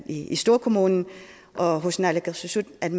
i storkommunen og naalakkersuisut